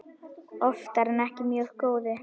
Oftar en ekki mjög góðu.